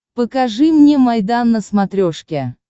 покажи мне майдан на смотрешке